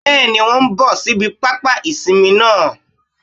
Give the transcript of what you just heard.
Bẹ́ẹ̀ni wón n bò síbi pápá ìsinmi náà